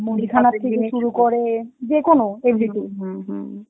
"